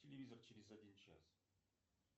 телевизор через один час